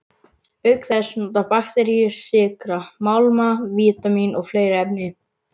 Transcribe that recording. Auk þess nota bakteríur sykra, málma, vítamín og fleiri efni.